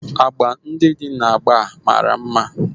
Agba ndị dị na agba mara mma